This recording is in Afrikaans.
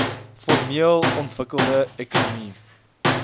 formeel ontwikkelde ekonomie